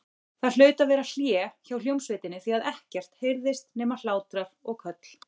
Það hlaut að vera hlé hjá hljómsveitinni því að ekkert heyrðist nema hlátrar og köll.